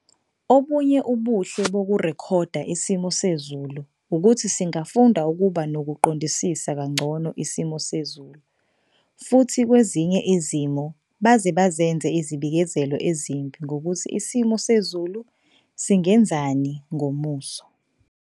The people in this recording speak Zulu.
Obunye ubuhle bokurekhoda isimo sezulu ukuthi singafunda ukuba nokuqondisisa kangcono isimo sezulu, futhi kwezinye izimo baze benza izibikezelo ezimbi ngokuthi isimo sezulu singenzani ngomuso.